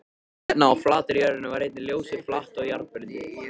Hérna á flatri jörðinni var einnig ljósið flatt og jarðbundið.